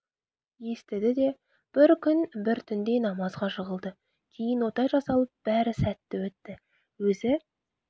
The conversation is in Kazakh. естіді де бір күн бір түнде намазға жығылды кейін ота жасалып бәрі сәтті өтті өзі